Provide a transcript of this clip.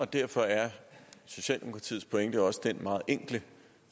derfor er socialdemokratiets pointe også den meget enkle